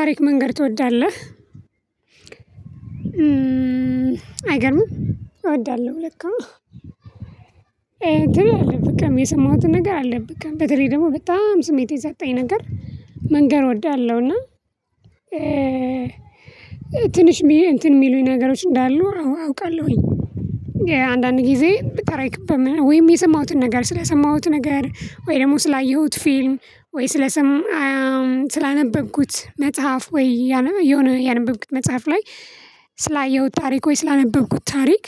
ታሪክ መንገር ትወዳለህ? "አይገርምም? እወዳለሁ ለካ!" ትላለህ በቃ የሰማሁትን ነገር አለ በቃ በተለይ ደግሞ በጣም ስሜት የሰጠኝን ነገር መንገር እወዳለሁ፤ እና "ትንሽ" እንትን የሚሉኝ ነገሮች እንዳሉ አውቃለሁኝ፤ አንዳንድ ጊዜ በጣም አይከብም? ወይም የሰማሁትን ነገር ስለሰማሁት ነገር፣ ወይ ደግሞ ስላየሁት ፊልም፣ ወይ ስለሰማ ስላነበብኩት መጽሐፍ ወይ የሆነ ያነበብኩት መጽሐፍ ላይ ስላየሁት ታሪክ ወይ ስላነበብኩት ታሪክ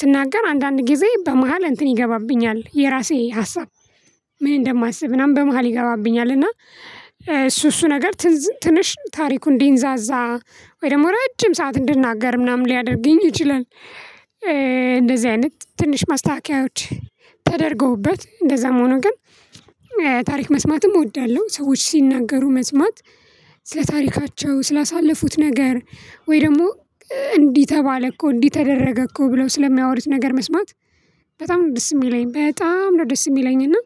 ስናገር አንዳንድ ጊዜ በመሃል እንትን ይገባብኛል—የራሴ ሀሳብ ምን እንደማስብ ምናምን በመሃል ይገባብኛል፤ እና እሱ እሱ ነገር፣ ትዝ ትንሽ ታሪኩ እንዲንዛዛ፣ ወይ ደግሞ ረጅም ሰዓት እንድናገር ምናምን ሊያደርገኝ ይችላል፤ እንደዚህ አይነት ትንሽ ማስተካከያዎች ተደርገውበት እንደዛም ሆኖ ግን ታሪክ መስማትም እወዳለሁ—ሰዎች ሲናገሩ መስማት፣ ስለ ታሪካቸው፣ ስላሳለፉት ነገር ወይ ደግሞ "እንዲህ ተባለ እኮ"፣ "እንዲህ ተደረገ እኮ" ብለው ስለሚያወሩት ነገር መስማት በጣም ደስ የሚለኝ በጣም ነው ደስ የሚለኝ፤ እና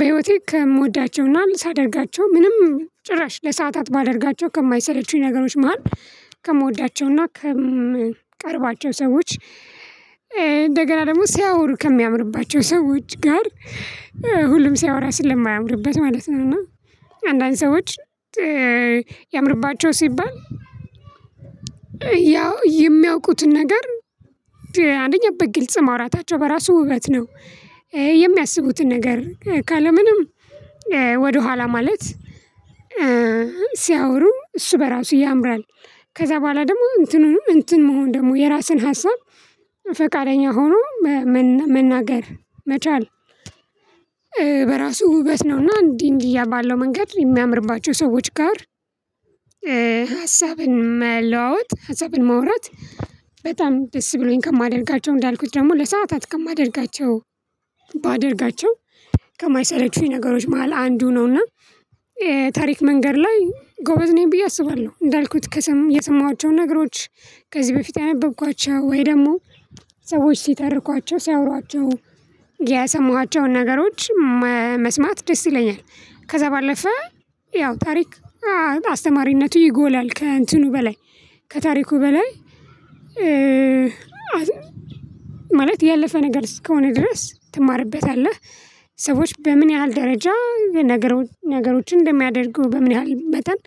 በህይወቴ ከምወዳቸው እና ሳደርጋቸው ምንም ጭራሽ ለሰአታት ባደርጋቸው ከማይሰለቹኝ ነገሮች መሃል—ከምወዳቸው እና ከምቀርባቸው ሰዎች፣ እንደገና ደግሞ ሲያወሩ ከሚያምርባቸው ሰዎች ጋር ሁሉም ሲያወራ ስለማያምርበት ማለት ነው፤ እና አንዳንድ ሰዎች "ያምርባቸዋል" ሲባል ያው የሚያውቁትን ነገር አንደኛ፦ በግልጽ ማውራታቸው በራሱ ውበት ነው። የሚያስቡትን ነገር፤ ካለ ምንም ወደኋላ ማለት ሲያወሩ እሱ በራሱ ያምራል ከዛ በኋላ ደግሞ እንትኑንም እንትን መሆን ደግሞ የራሱን ሀሳብ ፈቃደኛ ሆኖ መናገር መቻል በራሱ ውበት ነው፤ እና እንዲህ እንዲህ ያ ባለው መንገድ የሚያምርባቸው ሰዎች ጋር ሀሳብን መለዋወጥ፣ ሀሳብን ማውራት—በጣም ደስ ብሎኝ ከማደርጋቸው፣ እንዳልኩት ደግሞ ለሰአታት ከማደርጋቸው ባደርጋቸው ከማይሰለቹኝ ነገሮች መሃል አንዱ ነው፤ እና ታሪክ መንገር ላይ ጎበዝ ነኝ ብዬ አስባለሁ፤ እንዳልኩት፣ የሰማኋቸውን ነገሮች ከዚህ በፊት ያነበብኳቸው፣ ወይ ደግሞ ሰዎች ሲተርኳቸው፣ ሲያወሯቸው ያሰማኋቸውን ነገሮች መ መስማት ደስ ይለኛል፤ ከዛ ባለፈ ያው፣ የታሪክ አስተማሪነቱ ይጎላል—ከእንትኑ በላይ ከታሪኩ በላይ ማለት፣ ያለፈ ነገር እስከሆነ ድረስ ትማርበታለህ፤ ሰዎች በምን ያህል ደረጃ የነገሩ ነገሮችን እንደሚያደርጉ፣ በምን ያህል መጠን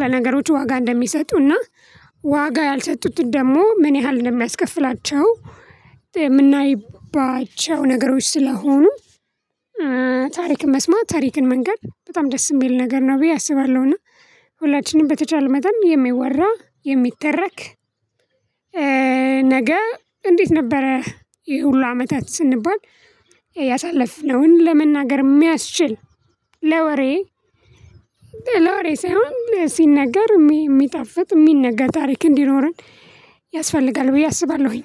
ለነገሮቹ ዋጋ እንደሚሰጡ እና ዋጋ ያልሰጡትን ደግሞ ምን ያህል እንደሚያስከፍላቸው የምናይባቸው ነገሮች ስለሆኑ ታሪክን መስማት፣ ታሪክን መንገር በጣም ደስ የሚል ነገር ነው ብዬ አስባለሁ፤ እና ሁላችንም በተቻለ መጠን የሚወራ፣ የሚተረክ ነገ እንዴት ነበረ ይሄ ሁሉ አመታት?" ስንባል፣ ያሳለፍነውን ለመናገር የሚያስችል ለወሬ ለወሬ ሳይሆን፣ ሲነገር የሚጣፍጥ፣ የሚነገር ታሪክ እንዲኖረን ያስፈልጋል ብዬ አስባለሁኝ።